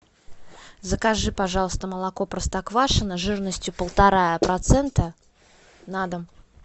закажи пожалуйста молоко простоквашино жирностью полтора процента на дом